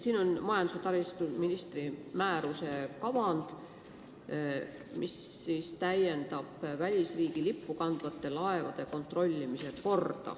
Siin on majandus- ja taristuministri määruse kavand, mis täiendab välisriigi lippu kandvate laevade kontrollimise korda.